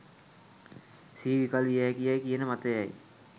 සිහි විකල් වියහැකි යැයි කියන මතය යි.